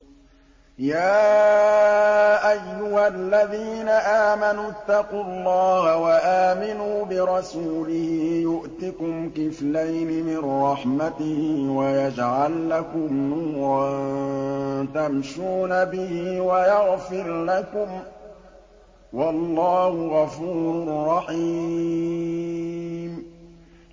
يَا أَيُّهَا الَّذِينَ آمَنُوا اتَّقُوا اللَّهَ وَآمِنُوا بِرَسُولِهِ يُؤْتِكُمْ كِفْلَيْنِ مِن رَّحْمَتِهِ وَيَجْعَل لَّكُمْ نُورًا تَمْشُونَ بِهِ وَيَغْفِرْ لَكُمْ ۚ وَاللَّهُ غَفُورٌ رَّحِيمٌ